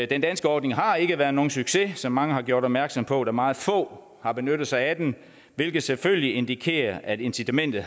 den danske ordning har ikke været nogen succes som mange har gjort opmærksom på da meget få har benyttet sig af den hvilket selvfølgelig indikerer at incitamentet